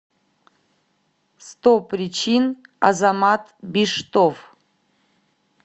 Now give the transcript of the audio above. сто причин азамат биштов